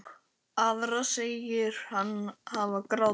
Aðra segir hann hafa grátið.